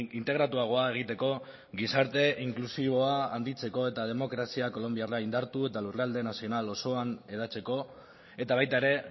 integratuagoa egiteko gizarte inklusiboa handitzeko eta demokrazia kolonbiarra indartu eta lurralde nazional osoan hedatzeko eta baita ere